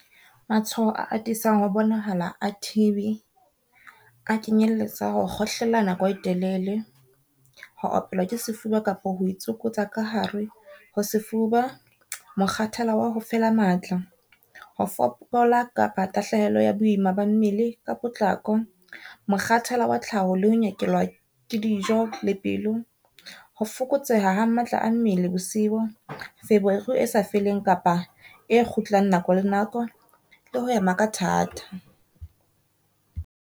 Matshwao a atisang ho bonahala a T_B a kenyelletsa ho kgohlela nako e telele, ho opelwa ke sefuba kapa ho itsokotsa ka hare ho sefuba, mokgathala wa hofela matla, ho fokola kapa tahlehelo ya boima ba mmele ka potlako, mokgathalo wa tlhaho le ho nyekelwa ke dijo le pelo, ho fokotseha ha matla a mmele bosiu, feberu e sa feleng kapa e kgutlang nako le nako, le ho hema ka thata.